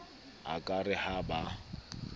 a ka re ha ba